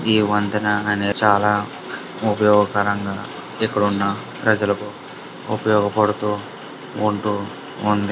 ఈ వంతెన అనే చాలా ఉపయోగకరంగా ఇక్కడున్న ప్రజలకు ఉపయోగపడుతూ ఉంటూ ఉందని.